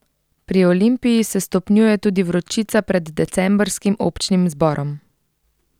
Pri Olimpiji se stopnjuje tudi vročica pred decembrskim občnim zborom.